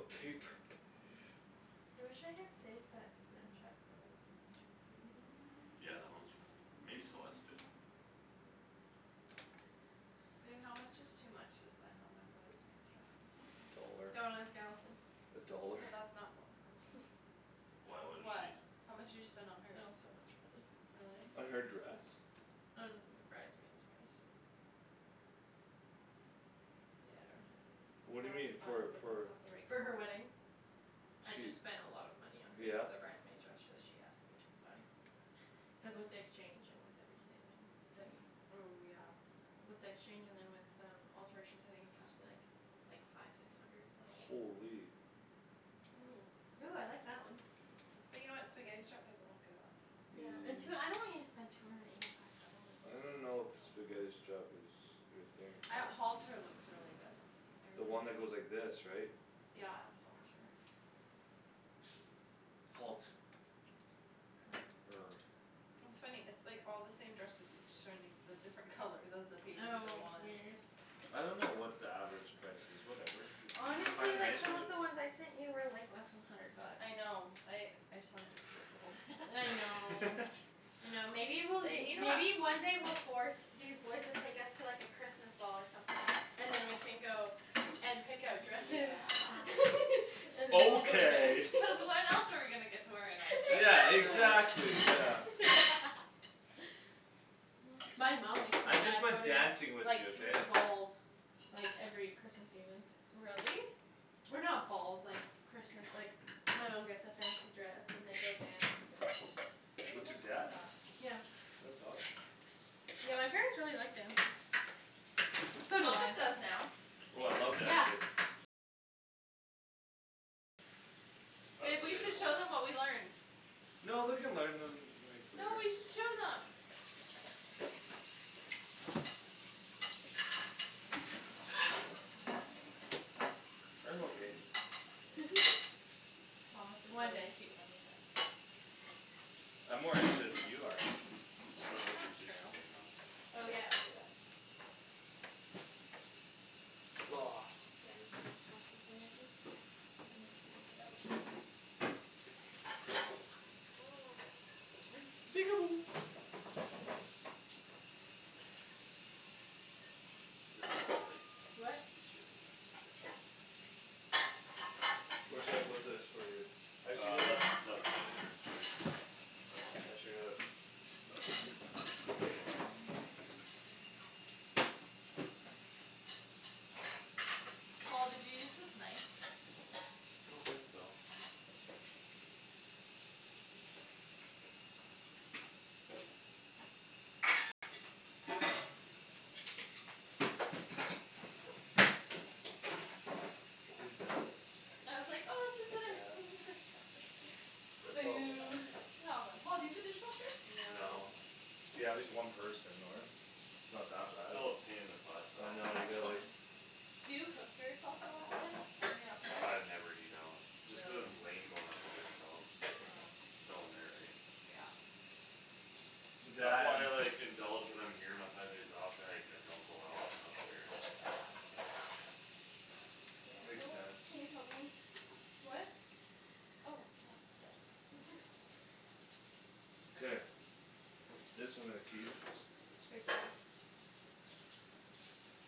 Okay, p- I wish I had saved that Snapchat photo. That's too bad. Yeah, that one's for, maybe Celeste did. Babe, how much is too much to spend on a bridesmaid's dress? A dollar. Don't ask Allison. A dollar. Oh, that's not, don't wanna click on. Why, How, what is she what? How much did you spend on It hers? was so much money. Really? Uh, her dress? On the bridesmaid's dress. Yeah, I don't have it. Ooh, What do you that's mean? For, fun but for that's not the right For her color. wedding. I She, just spent a lot of money on her, yeah? the bridesmaid dress so she asked me to buy. Cuz with the exchange and with everything and then Ooh, yeah. With the exchange and then with um alterations I think it cost me, like Like, five six hundred, like Holy. Ooh. Ooh, I like that one. But you know what, spaghetti strap doesn't look good on me. Yeah, and tw- I don't want you to spend two hundred and eighty five dollars. I don't It's know if spaghetti a lot. strap is your thing. I, halter looks really good on me. I The really one that like goes like this, right? Yeah, halter. Halt. Er Er. It's funny. It's like all the same dresses. It's just showing me the different colors as the pages Oh go on. weird. I don't know what the average price is, whatever. You, you, you find Honestly, a like, nice some one, you of the ones I sent you were, like, less than hundred bucks. I know I, I saw it, it's Beholden. I know. I know, maybe we'll, They, you know what maybe one day we'll force These boys to take us to, like, a Christmas ball or something. And then we can go and Easy. pick out dresses Yeah. And then we'll go Okay. dance. Cuz when else are we gonna get to wear a nice dress Yeah, outside Exactly. our wedding? exactly, yeah. My mom makes my I just dad go like to, dancing like, with you, like, okay? three balls. Like, every Christmas evening. Really? Or not balls, like, Christmas, like My mom gets a fancy dress and they go dance and Babe, What, your that's dad? enough. Yeah. That's awesome. Yeah, my parents really like dancing. So do Thomas I. does now. Oh, I love Yeah. dancing. That's Babe, we should debatable. show them what we learned. No, we can learn them, like, No, later. we should show them. I'm okay. Thomas is One really day. cute when he dances. I'm more into it than you are. I'm gonna That's put not these dishes true. away and then just Oh, yeah, I'll do that. And, like, take it out. Get rid of that plate. What? Just get rid of that plate there. Where should I put this for you? I should Uh get left, a left side there. K. I should get a Paul, did you use this knife? I don't think so. Okay. Are you done? I was like, "Oh, we should put our Yeah. thing in the dishwasher." They're probably Boo. Boo. Come on. Paul, do you have a dishwasher? No. No. Yeah, just one person though, right? Not that bad. Still a pain in the butt though. I know, you gotta, like Yeah. Do you cook for yourself a lot then? When you're up there? I never eat out. Just cuz it's Really? lame going out by myself. Yeah. There's no one there, eh? Yeah. That's That why and I, like, indulge when I'm here my five days off and, like, I don't go out when I'm up there. Yeah. Yeah, Makes oh, sense. can you help me? What? Oh, yeah. Thanks. Okay. This I'm gonna keep. Take four.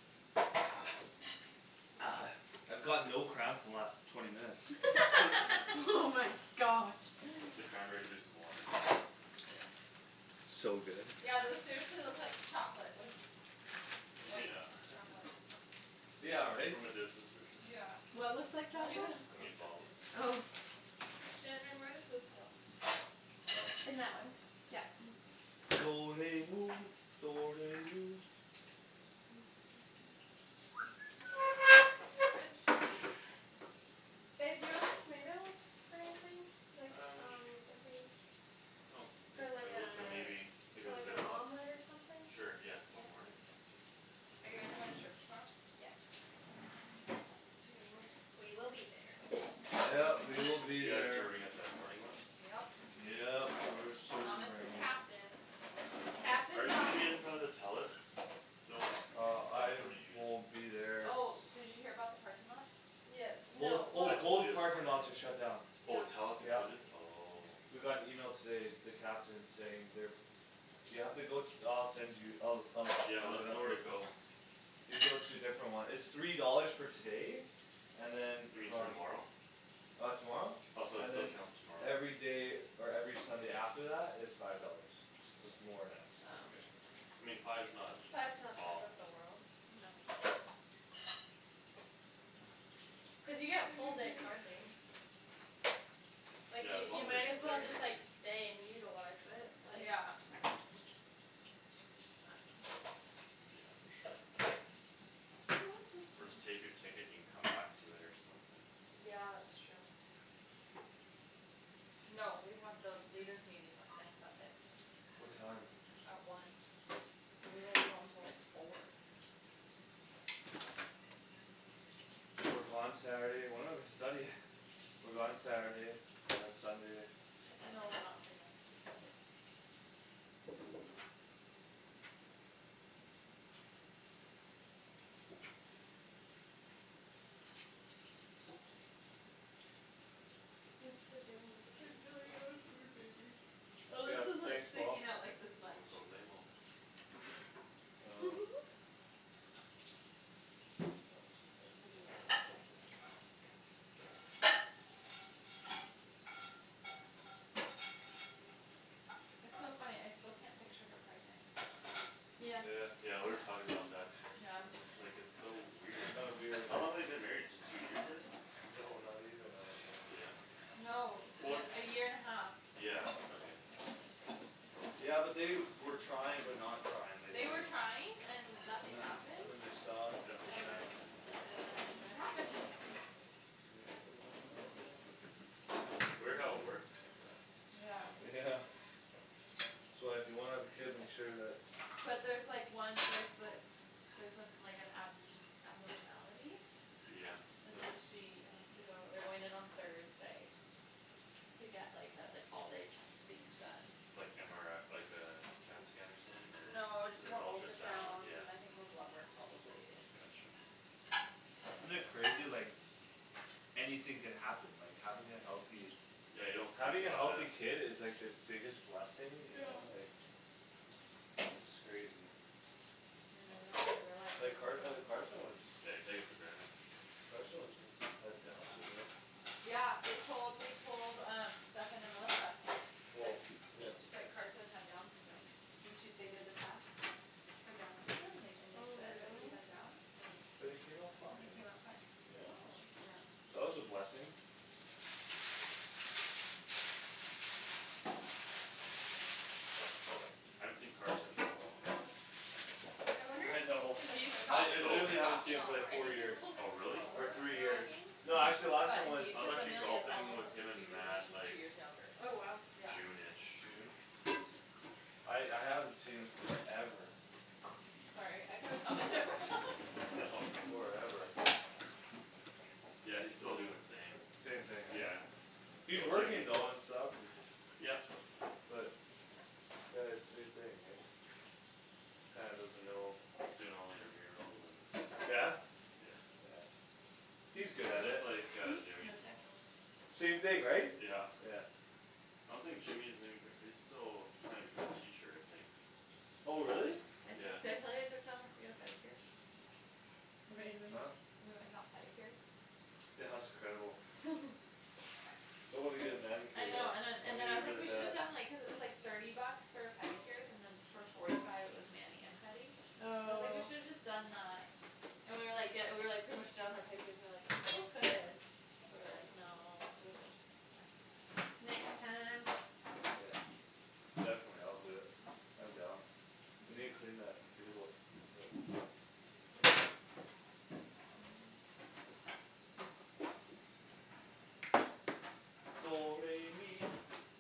I've got no cramps the last twenty minutes. Oh my gosh. The cranberry juice and water. So good. Yeah, those seriously look like chocolate with White Yeah. chocolate Yeah, right? From a distance for sure. Yeah. What looks like Well, chocolate? even it The cooks like meatballs. you. Oh. Shandryn, where does this go? In that one, yeah. Garbage? Babe, do you want these tomatoes for anything? Like, Um. um if we I don't think For like I a, would but maybe if for it was like an Ziploc. omelet or something? Sure, yeah, Yeah? Okay. tomorrow morning? Are you guys going to church tomorrow? Yes. Us too. We will be there. Yep, we will be You guys there. serving at the morning one? Yep. Yep, we're Thomas is serving. captain. Captain Are you gonna be Thomas in front of the Telus building? Uh Or which I one are you will in? be there s- Oh, did you hear about the parking lots? Yeah, Both, no, oh, I well told you both this parking morning. lots are shut down. Oh, Yeah. Telus Yep. included? Oh. Mhm. We got an email today, the captain saying they're You have to go, I'll send you. I'll, I'll Yeah, let look it us know up where for to you. go. You go to a different one. It's three dollars for today. And then You mean from tomorrow? Uh tomorrow? Oh, so it, And so it then counts tomorrow. Everyday or every Sunday after that is Five dollars. So it's more now. Oh. Okay. I mean, five's not Five's not the end of the awful. world. No. Cuz you get full day parking. Like Yeah, you, as long you as you're might as well staying just, like, there. stay and utilize it, like Yeah. Yeah, for sure. Or just take your ticket and you can come back to it or something. Yeah, it's true. No, we have the leaders' meeting, uh, next Sunday. What time? At one. So we won't be home till like four. So we're gone Saturday and when are we studying? We're gone Saturday, and then Sunday. No, we're not free next weekend. Thanks for doing all the I dishes. feel like I have a food Mhm. baby. Oh, Yeah, this is, like, thanks, Paul. sticking out, like, this No much. problemo. Uh Want a cigarette? I could be like that now. It's so funny, I still can't picture her pregnant. Yeah. Yeah. Yeah, we were talking about that. Yeah. And just, like, it's so weird. Kinda weird, How eh? long they been married just two years, I think? No, not even, I don't think. Yeah? No. Well, The, a year and a half. yeah, okay. Yeah, but they were trying but not trying. Like They they're were trying and And nothing then, happened. and then they stopped and then That's what And Shannon then, said, yeah. and then it happened. Can you open that right Mhm. there? Weird how it works like that. Yeah. Yeah. So uh if you wanna have a kid make sure that But there's like one, like, the Theres some, like an ab- abnormality Yeah. And so she has to go, they're going in on Thursday. To get, like, uh like, all day testing done. Like MRI, like uh, CAT scan or something No, just more or ultrasound, ultrasounds yeah. and I think more blood work probably and Gotcha. Isn't it crazy like Anything could happen, like, having a healthy Yeah, you don't think Having a about healthy it. kid is like the biggest blessing, you Yeah. know? Like It's crazy. You know, you don't really realize Like it Car- uh until Carson was Yeah, you take it for granted. Carson was had Downs Syndrome Yeah, they told, they told um Stephen and Melissa. Well, That, yeah. that Carson had Downs syndrome. So she, they did the test For Downs syndrome and they, and they Oh, said that he really? had Downs and But he came out he fine. came out fine. Yeah. Oh. Yeah. That was a blessing. I haven't seen Carson in so long. I wonder if I he's gonna know. He's I, tal- He's come it, so he's literally haven't seen talking him a for lot more. like I four think he's a years. little bit Oh, really? Or slower on three the years. talking Oh. No, actually last time But he, was I was cuz actually Amelia's golfing almost with up to him and speed with him and Matt, she's like two years younger. Oh, wow. Yeah. June ish. June? I, I haven't seen him forever. Sorry, I could've All good. Forever. Yeah, he's still doin' the same. Same thing, right? Yeah, He's still working duty. though and stuff and Yep. But Uh same thing, right? Kinda doesn't know Doing all the intramurals and Yeah? Yeah. No He's good at Just it. like uh text? Hmm? Jimmy. No text? Same thing, right? Yeah. Yeah. I don't think Jimmy is even gra- he's still trying to become a teacher, I think. Oh, really? I Yeah. took, did I tell you I took Thomas to get a pedicure? Amazing. Huh? We went and got pedicures? Yeah, that was incredible. I wanna get a manicure I though. know, and then, I and then need I it was like, really we shoulda bad. done, like, cuz it was, like Thirty bucks for pedicures and then For forty five it was mani and pedi. I was like, "We Oh. should've just done uh" And we were, like, ge- we were, like, pretty much done with our pedicures and like We still could, but we were, like, "No, just next time." Next Next time. time I'll do it. Definitely, I'll do it. I'm down. We need to clean that table a little bit. Mhm.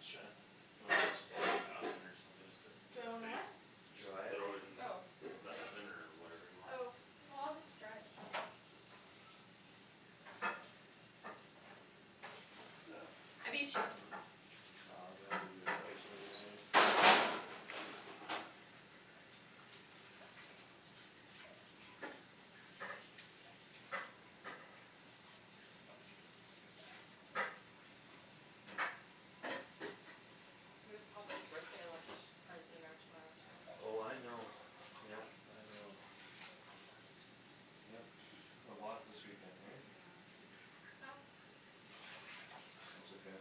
Shan, wanna just, just put this in the oven or something just to Do get I wanna what? space? It's Just Dry it? throw it not mine. in Oh. the oven or whatever you want? Oh. Oh, I'll just dry it. I beat you. Oh, that's a good place right in there. We have Papa's birthday lunch, or dinner tomorrow too. Oh, I know. Yep, I know. Yep, a lot this weekend, hey? Yeah, this weekend's packed. That's okay.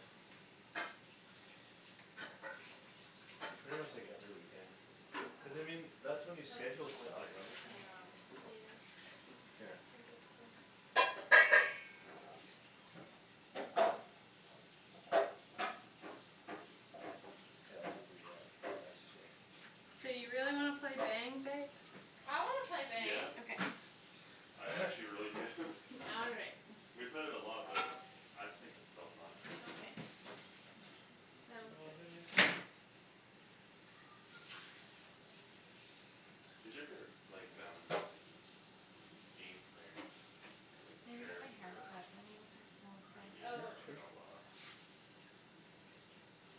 Might It's pretty try much to like hold her every in weekend. for like another Cuz I half an hour. mean, that's when you What? schedule stuff. Right? And Yeah. Yeah. Here. I guess so. K, I'll do the uh, the rest here. Do you really wanna play Bang, babe? I wanna play Yeah. Bang. Okay. I actually really do. All right. We've played it a lot but it's, I think it's still fun. Okay, sounds good. Who's your favorite, like um Game player? Like Need to get sheriff my hair or cut. I need to text Melissa. Renegade Oh. or Sure. outlaw?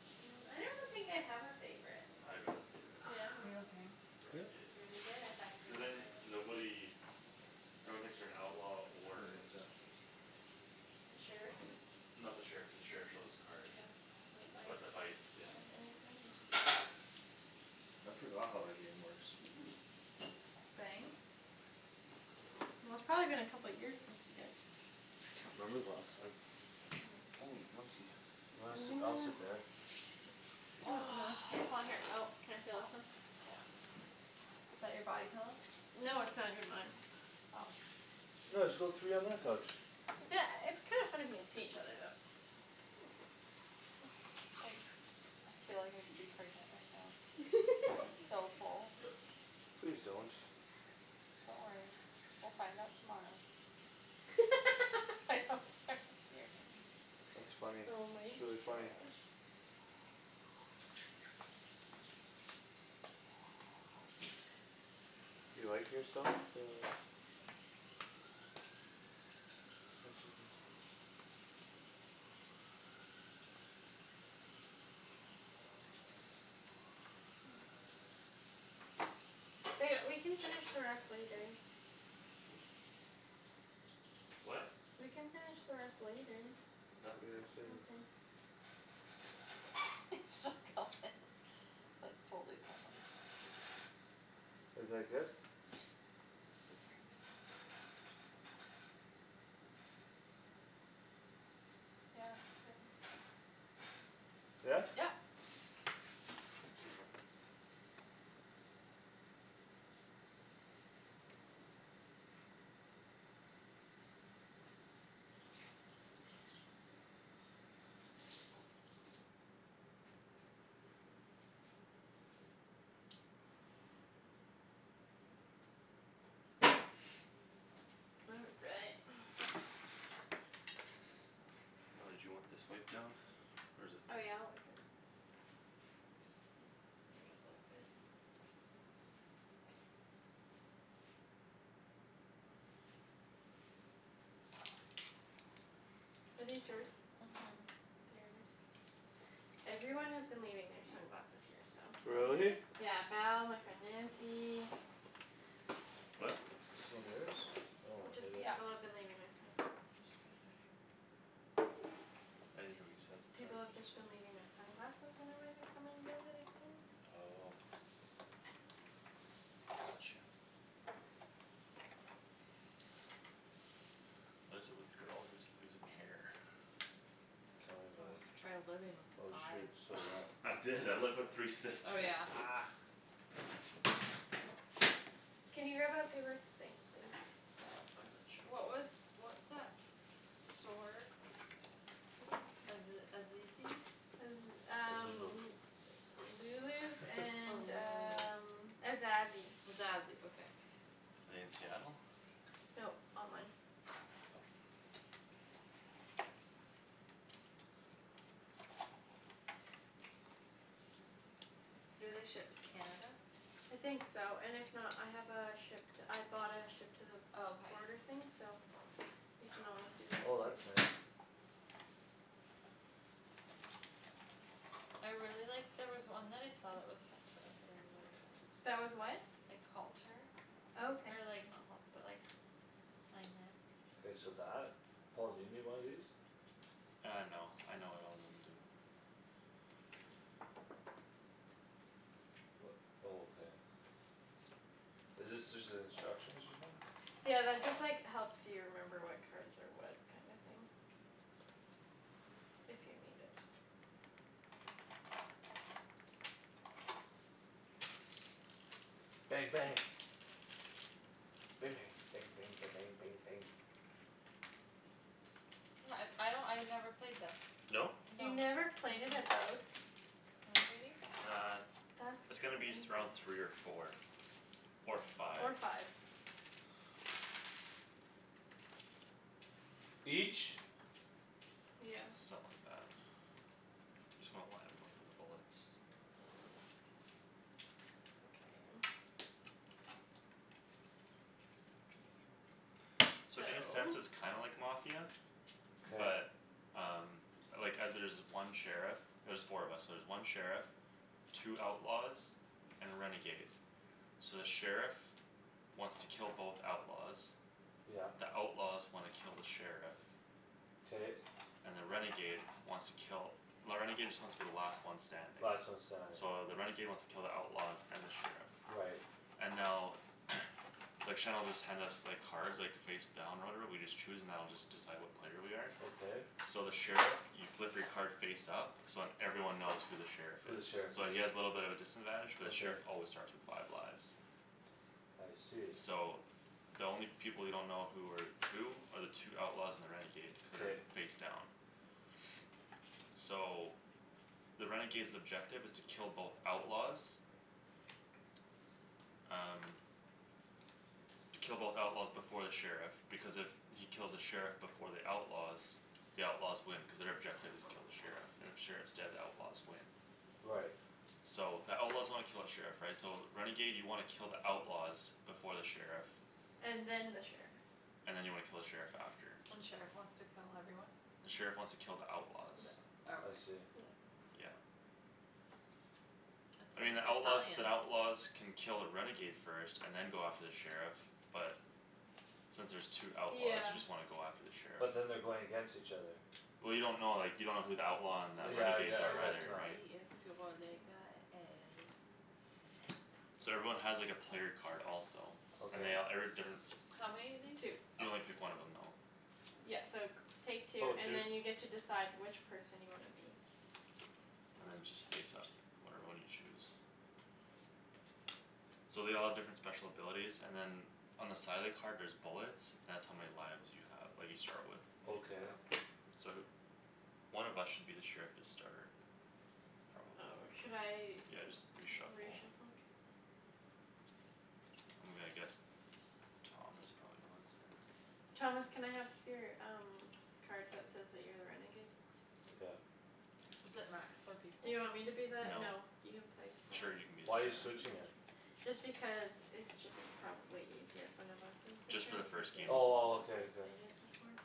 I don't think I have a favorite. I got a favorite. Yeah? Like Are you okay? Yeah? Renegade. Renegade? I thought you Cuz were then gonna say that. nobody No one thinks you're an outlaw For or an exam. The sheriff? No, the sheriff, the sheriff shows his card. Yeah, But the the vice. vice, yeah. Oh, anything. I forgot how that game works. Bang? Well, it's probably been a couple years since you guys I can't remember the last time. Oh, monkey. You wanna I'm sit, I'll gonna sit there. K, Paul, here. Oh, can I steal Oh, this one? yeah. Is that your body pillow? No, it's not even mine. Oh. No, just go three on my couch. Yeah, it's kinda funny if you can see each other though. Like, I feel like I could be pregnant right now. I'm so full. Please don't. Don't worry, we'll find out tomorrow. I hope, sorry, here, hey. That's funny. Oh my It's really funny. gosh. You like, you're starting to Ba- we can finish the rest later. What? We can finish the rest later. I'm done. Okay. He's still going. That's totally Thomas. Is like this? Scared me. Yeah, since Yeah? Yep. All right. Oh, did you want this wiped down? Or is it fine? Oh yeah, like that. Bring it Are these yours? Mhm. Theirs? Everyone has been leaving their sunglasses here, so. Really? Really? Yeah. Val, my friend Nancy What? Is this one yours? Oh, I Just, hate it. Yeah. people have been leaving their sunglasses. I'm just about done here. I didn't hear what you said, People sorry. have just been leaving their sunglasses whenever they're coming to visit, it seems. Oh. Got you. What is it with girls and just losing hair? Tell me about Oh, it. try living with Oh, five. shoot, stole that. I Oh, is did, I lived with it? three Oh, sisters. yeah. Can you grab that paper- thanks, babe. I got you. What was, what's that store? Aze- Azizi? Cuz um Lulu's Oh, and Lulu's. um Azazi. Azazi, okay. In Seattle? Nope, online. Do they ship to Canada? I think so, and if not, I have a ship to, I bought a ship to the Oh, okay. border thing so You I can want always us do to that do Oh, that's it too. too. nice. I really liked, there was one that I saw that was halter that I really liked. That was what? Like halter. Oh, okay. Or like, not halt- but like Kinda K, so that? Paul, do you need one of these? Uh, no, I know what all of them do. Oh, okay. Is this just the instructions or something? Yeah, that just, like, helps you remember what cards are what kinda thing. If you need it. Bang, bang. Ba- bang. Bang bang ba- bang bang bang. Yeah, uh I don't, I never played this. No? No. You Mm- mm never played it at What, baby? Uh, That's it's gonna be crazy. th- around three or four. Or five. Or five. Each? Yeah. Something like that. Just wanna why I'm looking for bullets. Okay. So So in a sense it's kinda like Mafia. K. But um Like uh there's one sheriff. There's four of us so there's one sheriff Two outlaws And a renegade. So the sheriff Wants to kill both outlaws. Yep. The outlaws wanna kill the sheriff. K. And the renegade wants to kill, the renegade just wants to be the last one standing. Last one standing. So the renegade wants to kill the outlaws and the sheriff. Right. And now Like Shan'll just hand us, like, cards, like, face down or whatever, we just choose and that'll just decide what player we are. Okay. So the sheriff, you flip your card face up So then everyone knows who the sheriff Who the is. sheriff So is. he has little bit of a disadvantage but the Okay. sheriff always starts with five lives. I see. So the only people you don't know who are Who are the two outlaws and the renegade. Cuz K. they're face down. So the renegade's objective is to kill both outlaws Um Kill both outlaws before the sheriff, because if he kills the sheriff before the outlaws The outlaws win cuz their objective is kill the sheriff. And if sheriff's dead, the outlaws win. Right. So the outlaws wanna kill the sheriff, right? So renegade you wanna kill the outlaws. Before the sheriff And then the sheriff. And then you wanna kill the sheriff after. And the sheriff wants to kill everyone? The sheriff wants to kill the outlaws. I Okay. see. Yeah. It's I mean, in the outlaws, Italian. the outlaws Can kill a renegade first and then go after the sheriff but Since there's two outlaws Yeah. you just wanna go after the sheriff. But then they're going against each other. Well, you don't know, like, you don't know who the outlaw and the Yeah, I gue- renegades I are guess either, not. right? Two. So everyone has, like, a player card also. And Okay. they all, every different How many of these? Two. You only pick one of them though. Yeah, so g- take two Oh, and two. then you decide which person you wanna be. And then just face up whatever one you choose. So they all have different special abilities and then On the side of the card there's bullets. That's how many lives you have that you start with. Okay. Okay. So th- One of us should be the sheriff to start. Probably. Oh, should I Yeah, just re-shuffle. re-shuffle? I'm gonna guess Thomas probably was or Thomas, can I have your um card that says that you're a renegade? Took out. Is it max four people? Do you want me to be that? No. No, you can play Sure, seven. you can be the Why you sheriff. switching it? Just because it's just probably easier. If one of us is the Just for the sheriff versus first game. Oh, well, okay, okay. played it before.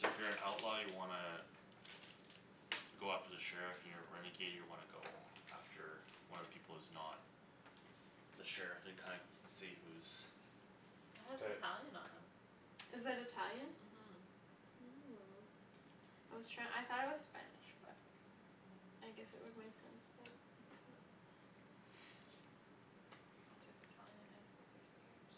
So if you're an outlaw you wanna Go after the sheriff, you're a renegade, you wanna go after one of the people who's not The sheriff and kind- see who's It has K. Italian on 'em. Is that Italian? Mhm. Oh, I was try- I thought it was Spanish, but I guess it would make sense that it's not. I took Italian in high school for three years.